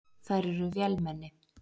Þær eru vélmenni.